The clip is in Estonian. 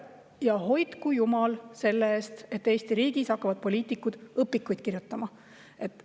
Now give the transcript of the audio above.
Ja hoidku jumal selle eest, et Eesti riigis hakkavad poliitikud õpikuid kirjutama!